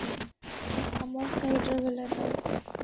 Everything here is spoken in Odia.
ଆମର୍ side ର ବେଲେ ତ